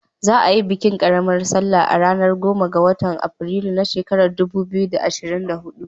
Za a yi bikin ƙaramar salla a ranar goma ga watan afrilu na shekarar dubu biyu da ashirin da hudu.